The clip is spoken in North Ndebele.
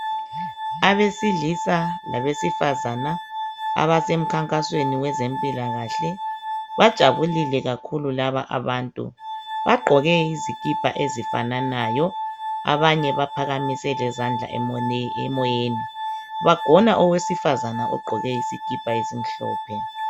Abesilisa labesifazana abasemkhankasweni wezempilakahle bajabulile kakhulu laba abantu. Bagqoke izikipa ezifananayo abanye baphakamise lezandla emoyeni. Bagona owesifazana ogqoke isikipa esimhlophe.